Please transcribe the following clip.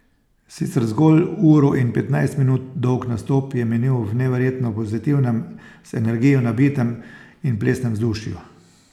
Sicer zgolj uro in petnajst minut dolg nastop je minil v neverjetno pozitivnem, z energijo nabitem in plesnem vzdušju.